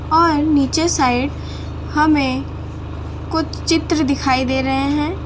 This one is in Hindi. और नीचे साइड हमे कुछ चित्र दिखाई दे रहे है।